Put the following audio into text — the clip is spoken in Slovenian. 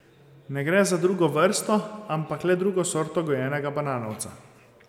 Ne gre za drugo vrsto ampak le drugo sorto gojenega bananovca.